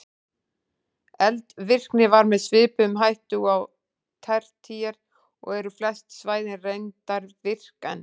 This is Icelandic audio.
Eldvirkni var með svipuðum hætti og á tertíer og eru flest svæðin reyndar virk enn.